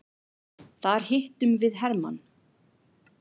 Þar hittum við hermann.